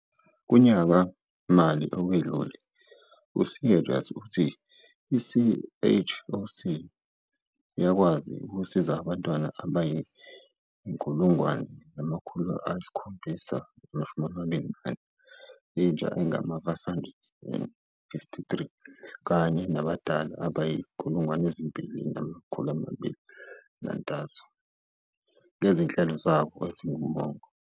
Kunyaka-mali owedlule, u-Seegers uthi i-CHOC yakwazi ukusiza abantwana abayi-1 724, intsha engama-553 kanye nabadala abayizi-2 232 ngezinhlelo zabo ezingumongo.